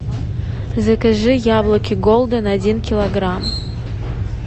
закажи яблоки голден один килограмм